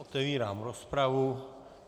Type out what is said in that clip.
Otevírám rozpravu.